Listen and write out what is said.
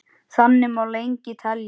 Þannig má lengi telja.